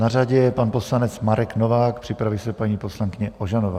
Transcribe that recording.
Na řadě je pan poslanec Marek Novák, připraví se paní poslankyně Ožanová.